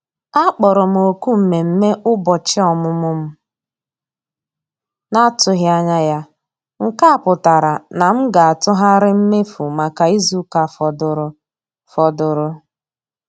A kpọrọ m òkù mmemme ụbọchị ọmụmụ m na-atụghị anya ya, nke a pụtara na m ga-atụgharị mmefu maka izu ụka fọdụrụ fọdụrụ